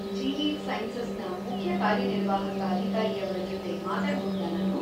Gilead ಸೈನ್ಸಸ್‌ನ ಮುಖ್ಯ ಕಾರ್ಯನಿರ್ವಾಹಕ ಅಧಿಕಾರಿಯವ್ರ ಜೊತೆ ಮಾತಾಡ್ಬಹುದಾ ನಾನು?